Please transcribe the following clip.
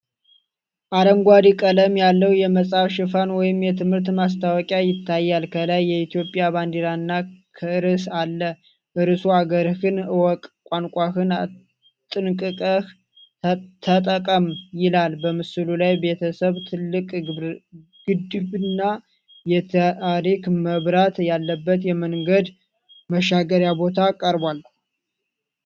አረንጓዴ ቀለም ያለው የመጽሐፍ ሽፋን ወይም የትምህርት ማስታወቂያ ይታያል። ከላይ የኢትዮጵያ ባንዲራ እና ርዕስ አለ። ርዕሱ አገርህን እወቅ ቋንቋህን አጥንቅቀህ ተጠቀም ይላል። በምስሉ ላይ ቤተሰብ፣ ትልቅ ግድብና የትራፊክ መብራት ያለበት የመንገድ መሻገሪያ ቦታ ቀርበዋል።